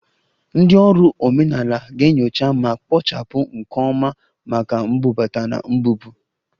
Ndị ọrụ omenala ga-enyocha ma kpochapụ nke ọma maka mbubata na mbupụ